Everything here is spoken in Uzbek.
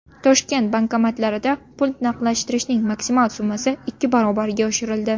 Toshkent bankomatlarida pul naqdlashtirishning maksimal summasi ikki barobarga oshirildi.